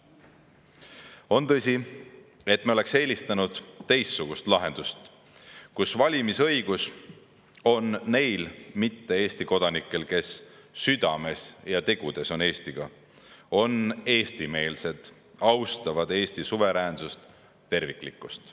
On tõsi, et me oleks eelistanud teistsugust lahendust, mille järgi valimisõigus oleks neil mitte Eesti kodanikel, kes südames ja tegudes on Eestiga: nad on eestimeelsed ning austavad Eesti suveräänsust ja terviklikkust.